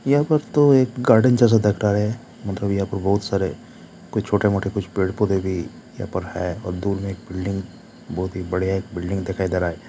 यहां पर तो एक गार्डन जैसा दिख रहा है मतलब यहां पर बहुत सारे कुछ छोटे मोटे कुछ पेड़-पौधे भी यहां पर है और दूर में एक बिल्डिंग बहुत ही बढ़िया एक बिल्डिंग दिखाई दे रहा है।